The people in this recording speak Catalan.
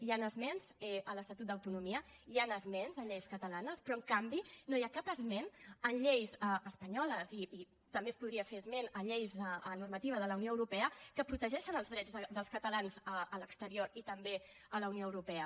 hi han esments a l’estatut d’autonomia hi han esments a lleis catalanes però en canvi no hi ha cap esment a lleis espanyoles i també es podria fer esment a lleis a normativa de la unió europea que protegeixen els drets dels catalans a l’exterior i també a la unió europea